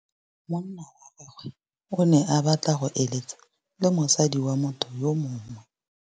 Monna wa gagwe o ne a batla go êlêtsa le mosadi wa motho yo mongwe.